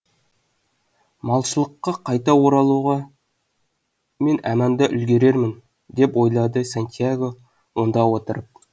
малшылыққа қайта оралуға мен әманда үлгерермін деп ойлады сантьяго онда отырып